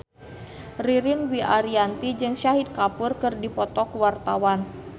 Ririn Dwi Ariyanti jeung Shahid Kapoor keur dipoto ku wartawan